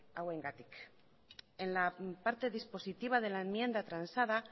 hauengatik en la parte dispositiva de la enmienda transada